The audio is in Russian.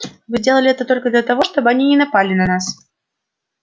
вы делали это только для того чтобы они не напали на нас